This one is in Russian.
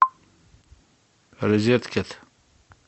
розеткед